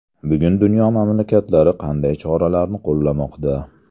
Bugun dunyo mamlakatlari qanday choralarni qo‘llamoqda?